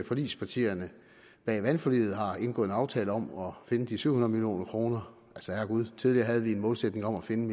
forligspartierne bag ved forliget har indgået en aftale om at finde de syv hundrede million kroner herregud tidligere havde vi en målsætning om at finde